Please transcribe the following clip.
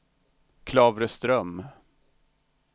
Klavreström